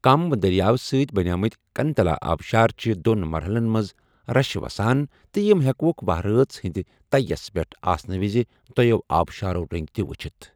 كم درِیاو سۭتۍ بنیمٕتہِ كٗنتلا آبشار چھِ دون مرحلن منز رشہٕ وسان تہٕ یم ہیكوكھ، وہرۭٲژ ہندِ تیہ یَس پیٹھ آسنہٕ وِزِ، دویو آبشارو رنگہِ تہِ وٗچھِتھ ۔